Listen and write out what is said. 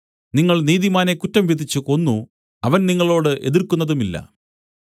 നിങ്ങൾ നീതിമാനെ കുറ്റം വിധിച്ച് കൊന്നു അവൻ നിങ്ങളോട് എതിർക്കുന്നതുമില്ല